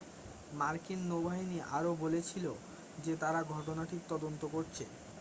মার্কিন নৌবাহিনী আরও বলেছিল যে তারা ঘটনাটির তদন্ত করছে